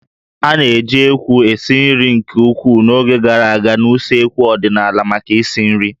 A na-eji ékwú esi nri nke ukwuu n'oge gara aga na usekwu ọdịnala maka isi nri